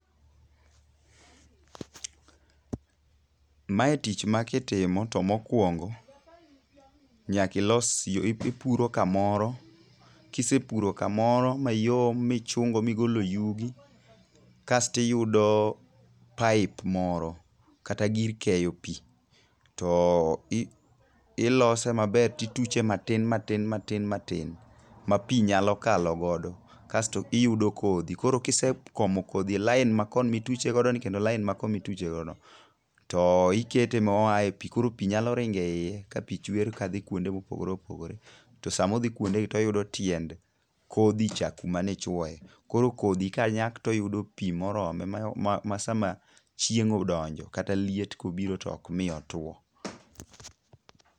Mae tich ma kitimo to mokwongo nyaka ilos ipuro kamoro. Kisepuro kamoro mayom michungo migolo yugi. Kastiyudo pipe moro kata gir keyo pi. To Ilose maber tituche matin mati matin ma pi nyalo kalo godo. Kaesto iyudo kodhi. Koro kise komo kodhi e line makomituchogoni kendo line makomituchegono. To ikete ma oae pi koro pi nyalo ringeiye ka pi chwer ka dhi kuonde mopogore opogore. To sama odhi kuondegi to oyudo tiende kodhi cha kuma ne ichwoye. Koro kodhi kanyak toyudo pi morome ma sama chieng odonjo kata liet kobiro to ok mi otuo.